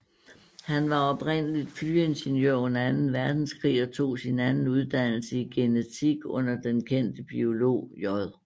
Han var oprindeligt flyingeniør under anden verdenskrig og tog sin anden uddannelse i genetik under den kendte biolog J